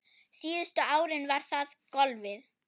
Síðustu árin var það golfið.